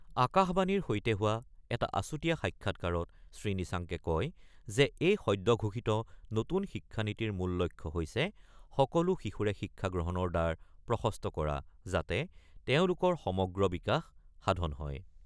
আকাশবাণীৰ সৈতে হোৱা এটা আছুতীয়া সাক্ষাৎকাৰত শ্ৰীনিচাংকে কয় যে এই সদ্যঘোষিত নতুন শিক্ষানীতিৰ মূল লক্ষ্য হৈছে সকলো শিশুৰে শিক্ষা গ্ৰহণৰ দ্বাৰ প্ৰশস্ত কৰা যাতে তেওঁলোকৰ সমগ্ৰ বিকাশ সাধন হয়।